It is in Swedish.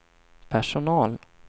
personal